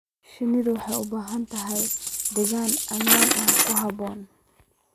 Shinnidu waxay u baahan tahay deegaan ammaan ah oo ku habboon.